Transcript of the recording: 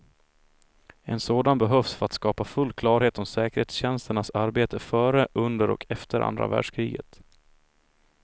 En sådan behövs för att skapa full klarhet om säkerhetstjänsternas arbete före, under och efter andra världskriget.